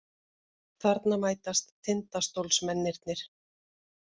Þarna mætast Tindastólsmennirnir.